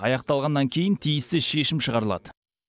аяқталғаннан кейін тиісті шешім шығарылады